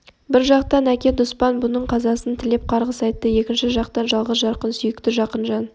бір жақтан әке дұспан бұның қазасын тілеп қарғыс айтты екінші жақтан жалғыз жарқын сүйікті жақын жан